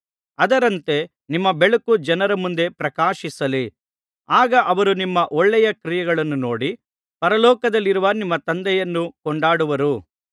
ಅದರಂತೆ ನಿಮ್ಮ ಬೆಳಕು ಜನರ ಮುಂದೆ ಪ್ರಕಾಶಿಸಲಿ ಆಗ ಅವರು ನಿಮ್ಮ ಒಳ್ಳೆಯ ಕ್ರಿಯೆಗಳನ್ನು ನೋಡಿ ಪರಲೋಕದಲ್ಲಿರುವ ನಿಮ್ಮ ತಂದೆಯನ್ನು ಕೊಂಡಾಡುವರು